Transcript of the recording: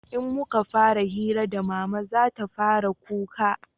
in muka fara hira da mama zata fara kuka